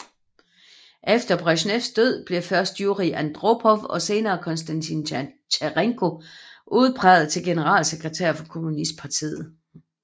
Efter Bresjnevs død blev først Jurij Andropov og senere Konstantin Tjernenko udpeget til generalsekretær for kommunistpartiet